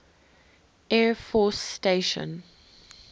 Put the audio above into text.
air force station